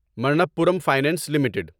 Manappuram finance limited